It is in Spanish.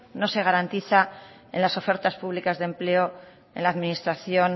no se garantiza en las ofertas públicas de empleo en la administración